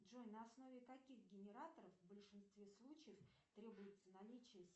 джой на основе каких генераторов в большинстве случаев требуется наличие